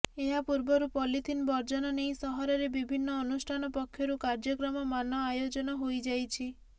ଏହାପୂର୍ବରୁ ପଲିଥିନ ବର୍ଜନ ନେଇ ସହରରେ ବିଭିନ୍ନ ଅନୁଷ୍ଠାନ ପକ୍ଷରୁ କାର୍ଯ୍ୟକ୍ରମ ମାନ ଆୟୋଜନ ହୋଇଯାଇଛି